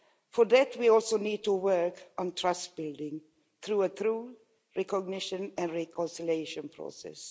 For that, we also need to work on trust building through a true recognition and reconciliation process.